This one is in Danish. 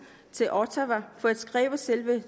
til ottawa for at skrive selve